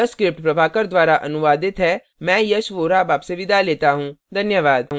यह स्क्रिप्ट प्रभाकर द्वारा अनुवादित है मैं यश वोरा अब आपसे विदा लेता हूँ धन्यवाद